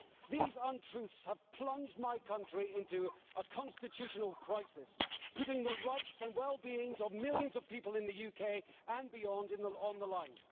These untruths have plunged my country into a constitutional crisis, putting the rights and well being of millions of people in the UK and beyond on the line.